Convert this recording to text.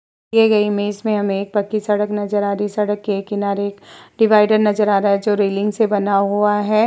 दिए गए इमेज में हमें एक पक्की सड़क नजर आ रही है। सड़क के किनारे डिवाइडर नजर आ रहा है जो रेलिंग से बना हुआ है।